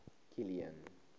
kilian